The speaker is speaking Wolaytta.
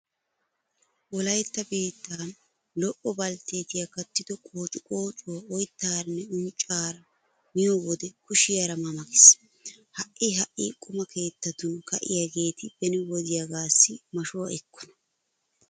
Wolaytta biittan lo"o baltteetiya kattido qoociqoocuwa oyttaaranne unccaara miyo wode kushiyara ma ma gees. Ha"i ha"i quma keettatun ka'iyageeti beni wodiyagaassi mashuwa ekkona!